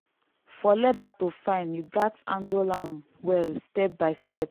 for leather to fine you gatz handle am well step by step.